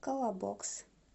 колобокс